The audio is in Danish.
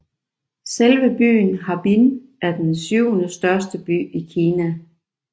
Selve byen Harbin er den syvende største by i Kina